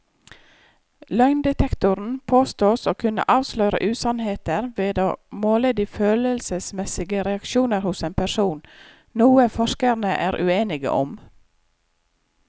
Løgndetektoren påstås å kunne avsløre usannheter ved å måle de følelsesmessige reaksjoner hos en person, noe forskerne er uenige om.